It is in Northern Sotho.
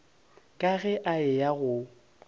ka ge a eya go